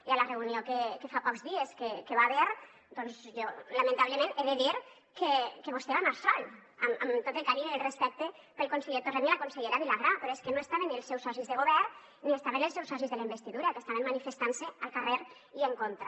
i a la reunió que fa pocs dies que hi va haver doncs jo lamentablement he de dir que vostè va anar sol amb tot el carinyo i el respecte pel conseller torrent i la consellera vilagrà però és que no estaven ni els seus socis de govern ni estaven els seus socis de la investidura que estaven manifestant se al carrer i en contra